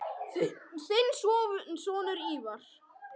Þinn sonur, Ívar.